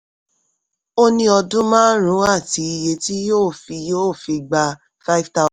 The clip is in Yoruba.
ó ní ọdún márùn-ún àti iye tí yóò fi yóò fi gba five thousand.